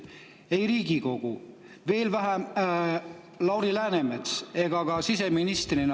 Mitte ühelgi teisel institutsioonil, ei Riigikogul, veel vähem Lauri Läänemetsal, ka siseministrina …